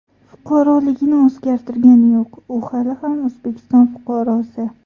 Fuqaroligini o‘zgartirgani yo‘q, u hali ham O‘zbekiston fuqarosi.